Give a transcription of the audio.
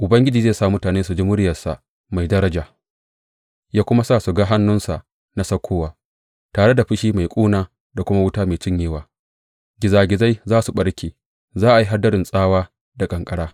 Ubangiji zai sa mutane su ji muryarsa mai daraja ya kuma sa su ga hannunsa na saukowa tare da fushi mai ƙuna da kuma wuta mai cinyewa, gizagizai za su ɓarke, za a yi hadarin tsawa da ƙanƙara.